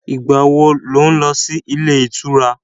Ìgbà wo lo ń lọ sí ilé ìtura?